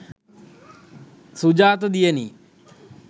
sujata diyani